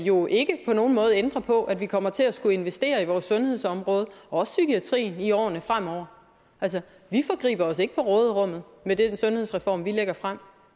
jo ikke på nogen måde ændrer på at vi kommer til at skulle investere i vores sundhedsområde også psykiatrien i årene fremover vi forgriber os ikke på råderummet med den sundhedsreform vi lægger frem